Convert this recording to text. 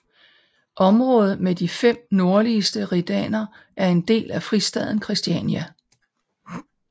Området med de fem nordligste redaner er en del af fristaden Christiania